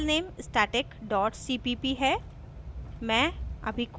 ध्यान दें हमारा file static dot cpp है